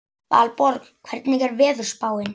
Valborg, hvernig er veðurspáin?